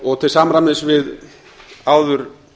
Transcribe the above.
og til samræmis við áður